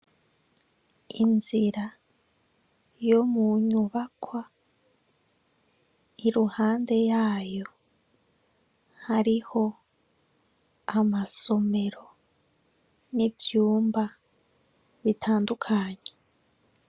Inzira yo mu nyubakwa iruhande yayo hariho amasomero n'ivyumba bitandukanye.